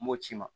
M'o ci ma